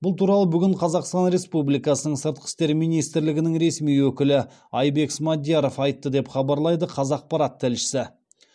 бұл туралы бүгін қазақстан республикасының сыртқы істер министрлігінің ресми өкілі айбек смадияров айтты деп хабарлайды қазақпарат тілшісі